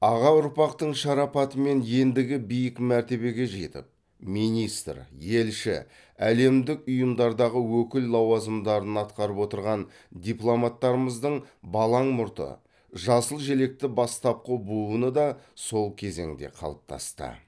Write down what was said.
аға ұрпақтың шарапатымен ендігі биік мәртебеге жетіп министр елші әлемдік ұйымдардағы өкіл лауазымдарын атқарып отырған дипломаттарымыздың балаң мұрты жасыл желекті бастапқы буыны да сол кезеңде қалыптасты